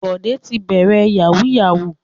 Bọ̀dé ti bẹ̀rẹ̀ yahoo yahoo.